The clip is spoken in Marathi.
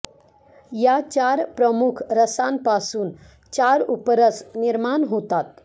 या चार प्रमुख रसांपासून चार उपरस निर्माण होतात